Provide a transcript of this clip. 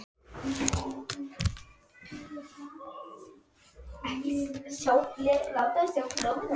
Sonur þeirra er Theodór Nói.